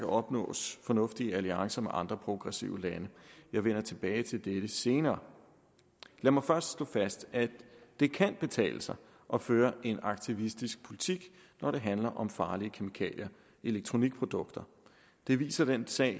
opnås fornuftige alliancer med andre progressive lande jeg vender tilbage til dette senere lad mig først slå fast at det kan betale sig at føre en aktivistisk politik når det handler om farlige kemikalier i elektronikprodukter det viser den sag